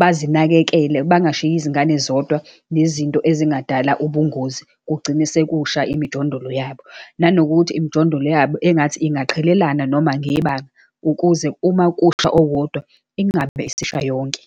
bazinakekele, bangashiyi izingane zodwa, nezinto ezingadala ubungozi, kugcine sekusha imijondolo yabo. Nanokuthi imijondolo yabo engathi ingaqhelelana, noma ngebanga, ukuze uma kusha owodwa ingabe isisha yonke.